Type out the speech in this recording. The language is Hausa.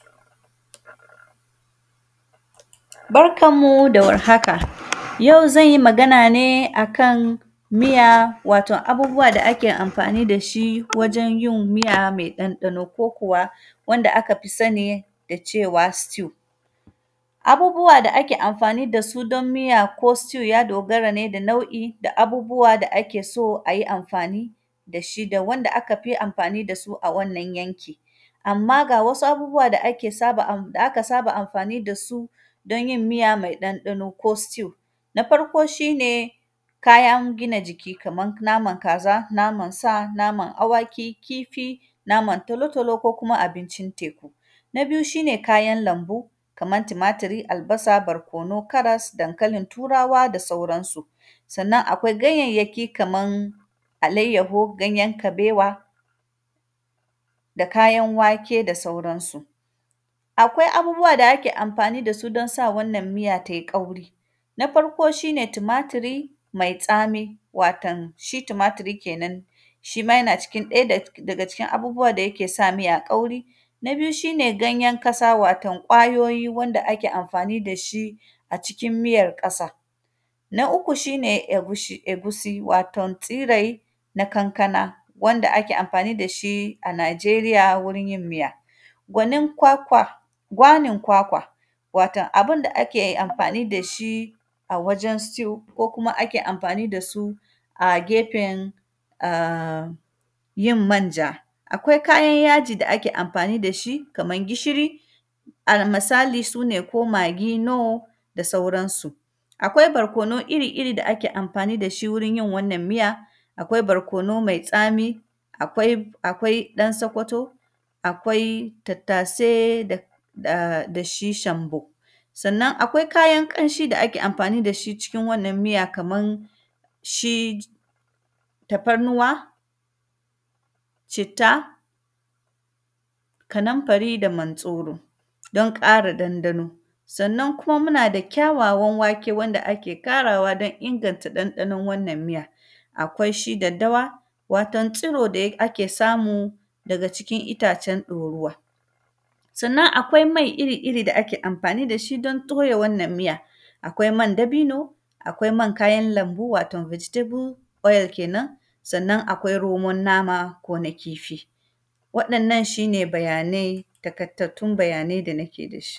Barkan mu da warhaka, ayau zan yi magana ne a kan miya, waton abubuwa da ake amfani da shi wajen yin miya me ɗanɗano ko kuwa, wanda aka fi sani da cewa “stew”. Abubuwa da ke amfani da su don miya ko “stew”, ya dogara ne da nau’i da abubuwa da ake so a yi amfani da shi, da wanda aka fi amfani da su a wannan yanki. Amma, ga wasu abubuwa da ake saba; da aka saba amfani da su don yin iya me ɗanɗano ko “stew”. Na farko, shi ne kayan gina jiki kaman naman kaza, naman sa, naman awaki, kifi, naman talo-talo ko kuma abincin teku. Na biyu, shi ne kayan lambu, kamar timatiri, albasa, barkono, karas, dankalin Turawa da sauransu. Sannan, akwai ganyayyaki kaman alayyaho, ganyen kabewa da kayan wake da sauransu. Akwai abubuwa da ake amfani da su don sa wannan miya tai ƙauri. Na farko, shi ne timatiri mai tsami, watan shi timatiri kenan, shi ma yana cikin ɗaya da; daga cikin abubuwa da yake sa miya ƙauri. Na biyu, shi ne ganyen kasa, waton ƙwayoyi wanda ake amfani da shi a cikin miyar ƙasa. Na uku, shi ne egushi; egusi, waton tsirai na kankana wanda ake amfani da shi a Najeriya wurin yin miya. Gwabnin kwakwa; gwanin kwakwa, waton abin da ake amfani da shi a wajen “stew” ko kuma ake amfani da su a gefen a; yin manja. Akwai kayan yaji da ake amfani da shi, kaman gishiri, almasali su ne ko magi no, da sauransu. Akwai barkono iri-iri da ake amfani da shi wurin yin wannan miya. Akwai barkono mai tsami, akwai; akwai ɗan Sokoto, akwai tattase da, da shi shambo. Sannan, akwai kayan ƙanshi da ake amfani da shi cikin wannan miya, kaman shi tafarnuwa, citta, kaninfari da mantsoro, don ƙara dandano. Sannan kuma, muna da kyawawan wake wanda ake ƙarawa don inganta ɗanɗanon wannan miya. Akwai shi daddawa, waton tsuro da ya; ake samu daga cikin itacen ɗoruwa. Sannan, akwai mai iri-iri da ake amfani da shi don torya wannan miya, akwai man dabino, akwai man kayan lambu waton “vegetable” a; kenan, sannan, akwai roman nama ko na kifi. Waɗannan, shi ne bayanai, takaitattun bayanai da nake da shi.